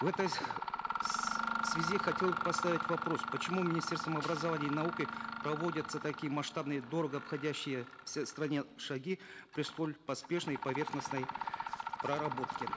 в этой связи хотел бы поставить вопрос почему министерством образования и науки проводятся такие масштабные дорого обходящиеся стране шаги при столь поспешной и поверхностной проработке